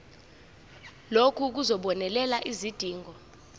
lokhu kuzobonelela izidingo